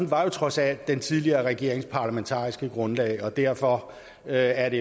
var jo trods alt den tidligere regerings parlamentariske grundlag og derfor er